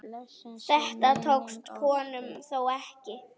Þetta tókst honum þó ekki.